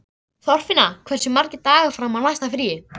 Þorfinna, hversu margir dagar fram að næsta fríi?